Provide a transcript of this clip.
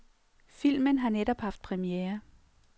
Filmen har netop haft premiere.